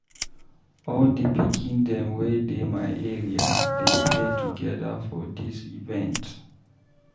All di pikin dem wey dey my area dey play togeda for dis event.